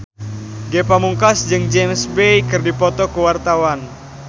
Ge Pamungkas jeung James Bay keur dipoto ku wartawan